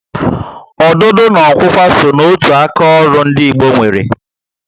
Ọdụdụ na okwukwa só na otu aka ọrụ ndị Igbo nwéré